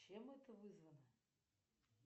чем это вызвано